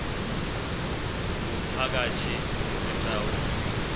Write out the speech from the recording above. ngumphakathi izi gcawu